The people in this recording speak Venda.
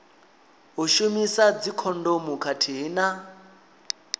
u shumisa dzikhondomu khathihi na